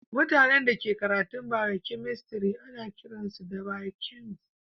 Mutane da ke karatun biokemistri ana kiran su biokemist.